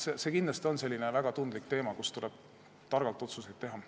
See on kindlasti väga tundlik teema, kus tuleb targalt otsuseid teha.